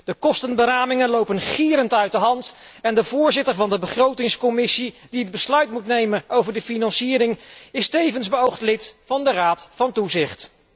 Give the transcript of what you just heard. De kostenramingen lopen gierend uit de hand en de voorzitter van de Begrotingscommissie, die het besluit moet nemen over de financiering, is tevens beoogd lid van de raad van toezicht.